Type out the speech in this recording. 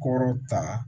Kɔrɔ ta